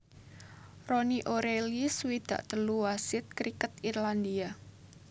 Ronnie O Reilly swidak telu wasit kriket Irlandia